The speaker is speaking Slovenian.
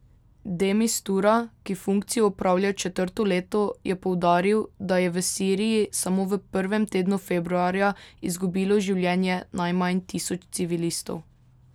De Mistura, ki funkcijo opravlja četrto leto, je poudaril, da je v Siriji samo v prvem tednu februarja izgubilo življenje najmanj tisoč civilistov.